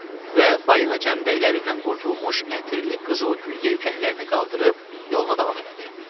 Və Balina cəmdəklərindən qurtulmuş ətirli qızıl gül yelkənlərini qaldırıb yoluna davam elədi.